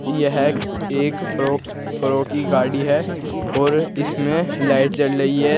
यह एक फ्रोक्स फ्रो की गाड़ी है और इसमें लाइट जल रही है।